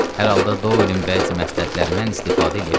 Hər halda Doelin bəzi məsləhətlərindən istifadə eləyə bilərdi.